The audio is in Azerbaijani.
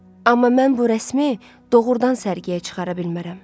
Amma mən bu rəsmi doğurdan sərgiyə çıxara bilmərəm.